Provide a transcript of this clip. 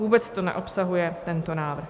Vůbec to neobsahuje tento návrh.